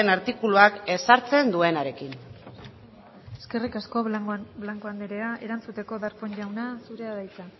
artikuluak ezartzen duenarekin eskerrik asko blanco anderea erantzuteko darpón jauna zurea da hitza